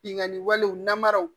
Binnkanni walew namaraw